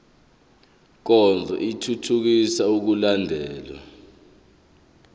nkonzo ithuthukisa ukulandelwa